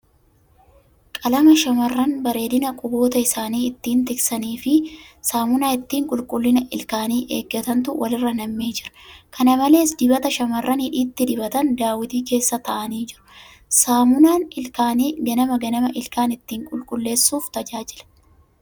Qalama shamarran bareedina quboota isaanii ittiin tiksanii fi saamunaa ittiiin qulqullina ilkaanii eegantuu wal irra nammee jira. Kana malees, dibata shamarran hidhiitti dibatan daawwitii keessa taa'anii jiru. Saamunaan ilkaanii ganama ganama ilkaan ittiin qulqulleessuuf tajaajila.